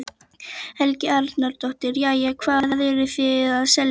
Helga Arnardóttir: Jæja, hvað eruð þið að selja hér?